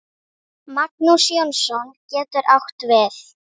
Magnús Jónsson getur átt við